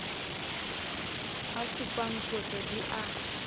a supang qotso di a